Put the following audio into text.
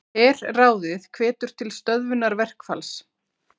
Herráðið hvetur til stöðvunar verkfalls